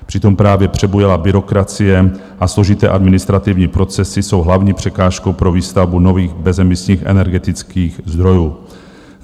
Přitom právě přebujelá byrokracie a složité administrativní procesy jsou hlavní překážkou pro výstavbu nových bezemisních energetických zdrojů.